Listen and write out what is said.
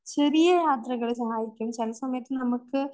ചെറിയ യാത്രകൾ സഹായിക്കും ചെല സമയത്ത് നമുക്ക്